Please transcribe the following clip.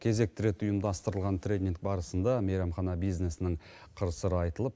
кезекті рет ұйымдастырылған тренинг барысында мейрамхана бизнесінің қыр сыры айтылып